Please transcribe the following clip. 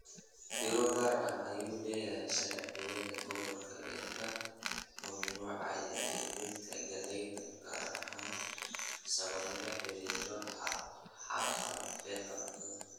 Fiiro gaar ah u yeelo sharciyada gobolka ee ka mamnuucaya iibinta galleyda cagaaran sababo la xiriira haqab-beelka cuntada